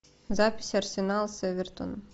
запись арсенал с эвертоном